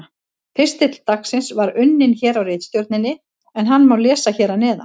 Pistill dagsins var unninn hér á ritstjórninni en hann má lesa hér að neðan: